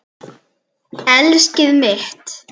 Elskið mitt!